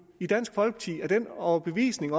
i dansk folkeparti er af den overbevisning